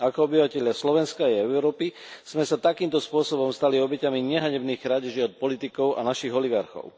Ako obyvatelia Slovenska a Európy sme sa takýmto spôsobom stali obeťami nehanebných krádeží od politikov a našich oligarchov.